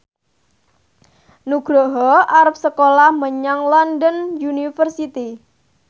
Nugroho arep sekolah menyang London University